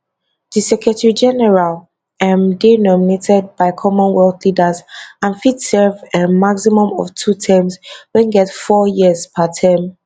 di secretarygeneral um dey nominated by commonwealth leaders and fit serve um maximum of two terms wey get four years per term